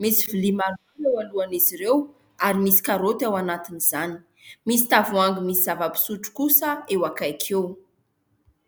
Misy vilia maromaro eo alohan'izy ireo ary misy karaoty eo anatin'izany. Misy tavoahangy misy zava-pisotro kosa eo akaiky eo.